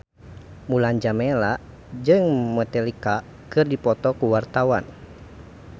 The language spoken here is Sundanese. Mulan Jameela jeung Metallica keur dipoto ku wartawan